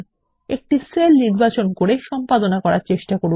একটি সেল নির্বাচন করে সম্পাদনা করার চেষ্টা করুন